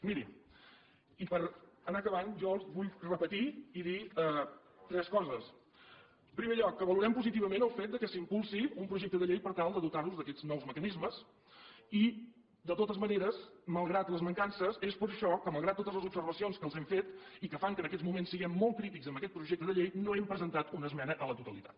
miri i per anar acabant jo els vull repetir i dir tres coses en primer lloc que valorem positivament el fet que s’impulsi un projecte de llei per tal de dotar nos d’aquests nous mecanismes i de totes maneres malgrat les mancances és per això que malgrat totes les observacions que els hem fet i que fan que en aquests moments siguem molt crítics amb aquest projecte de llei no hem presentat una esmena a la totalitat